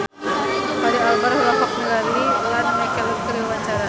Fachri Albar olohok ningali Ian McKellen keur diwawancara